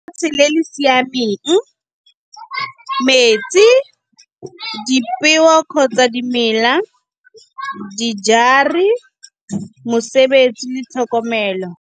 Lefatshe le siameng, metsi, di peo kgotsa dimela, dijari mosebetsi le tlhokomelo.